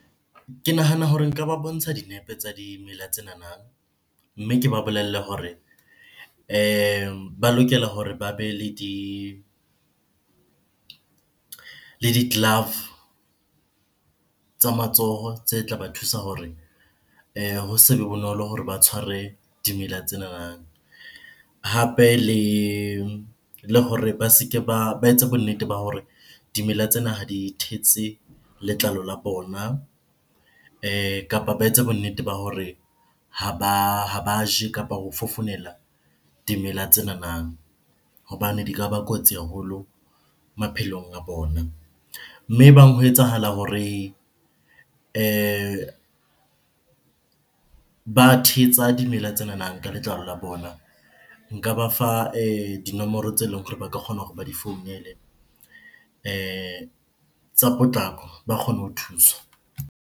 Ke nahana hore nka ba bontsha dinepe tsa dimela tsenana, mme ke ba bolelle hore ba lokela hore ba be le le di-glove tsa matsoho tse tla ba thusa hore ho se be bonolo hore ba tshware dimela tsenana. Hape le hore ba se ke ba, ba etse bonnete ba hore dimela tsena ha di thetse letlalo la bona kapa ba etse bonnete ba hore ha ba je kapa ho fofonela dimela tsenana hobane di ka ba kotsi haholo maphelong a bona. Mme ebang ho etsahala hore ba thetsa dimela tsenana ka letlalo la bona, nka ba fa dinomoro tse leng hore ba ka kgona hore ba di founele tsa potlako ba kgone ho thuswa.